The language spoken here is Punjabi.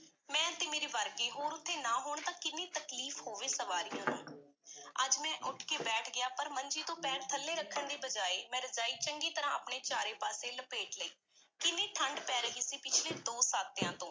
ਮੈਂ ਅਤੇ ਮੇਰੇ ਵਰਗੇ ਹੋਰ ਉੱਥੇ ਨਾ ਹੋਣ ਤਾਂ ਕਿੰਨੀ ਤਕਲੀਫ਼ ਹੋਵੇ, ਸਵਾਰੀਆਂ ਨੂੰ ਅੱਜ ਮੈਂ ਉੱਠ ਕੇ ਬੈਠ ਗਿਆ ਪਰ ਮੰਜੀ ਤੋਂ ਪੈਰ ਥੱਲੇ ਰੱਖਣ ਦੀ ਬਜਾਏ ਮੈਂ ਰਜਾਈ ਚੰਗੀ ਤਰ੍ਹਾਂ ਆਪਣੇ ਚਾਰੇ ਪਾਸੇ ਲਪੇਟ ਲਈ, ਕਿੰਨੀ ਠੰਢ ਪੈ ਰਹੀ ਸੀ, ਪਿਛਲੇ ਦੋ ਸਾਤਿਆਂ ਤੋਂ।